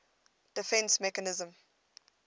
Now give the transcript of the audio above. defence mechanism